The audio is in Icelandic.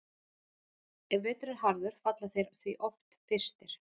Ef vetur er harður falla þeir því oft fyrstir.